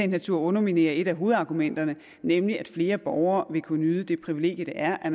natur underminere et af hovedargumenterne nemlig at flere borgere vil kunne nyde det privilegium det er at